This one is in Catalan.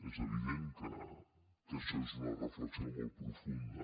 és evident que això és una reflexió molt profunda